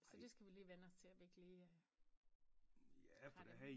Så det skal vi lige vænne os til at vi ikke lige øh har dem